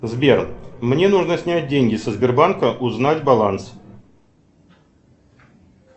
сбер мне нужно снять деньги со сбербанка узнать баланс